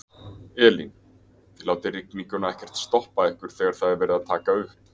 Elín: Þið látið rigninguna ekkert stoppa ykkur þegar það er verið að taka upp?